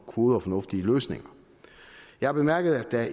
gode og fornuftige løsninger jeg har bemærket at der